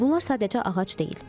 Bunlar sadəcə ağac deyil.